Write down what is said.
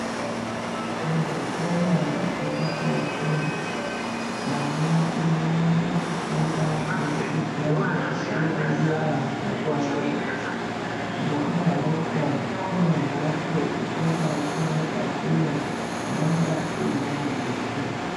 Muzvikora zvepakati ana anowanze kufunda kubudikidza ngekudzierengera pachawo ngekudaroko kune mbatso chikora chimwe ngachimwe inonga iine mabhuku.